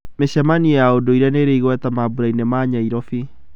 Mĩcemanio ya ũndũire nĩĩrĩ igweta mambũrainĩ ma Nairobi.